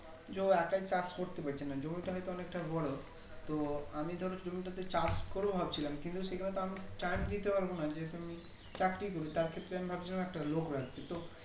যে ও একই চাষ করতে পেছে না জমিটা হয়তো অনেকটা বড়ো তো আমি ধরো জমিটাতে চাষ করবো ভাবছিলাম কিন্তু সেখানে তো আমি Time দিতে পারবো না যেহেতু আমি চাকরি করি তার ক্ষেত্রে আমি ভাবছিলাম একটা লোক রাখবো